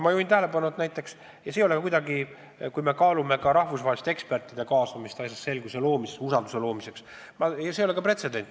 Ma juhin tähelepanu sellele, et kui me kaalume rahvusvaheliste ekspertide kaasamist asjas selguse saamiseks ja usalduse loomiseks, siis see ei ole pretsedent.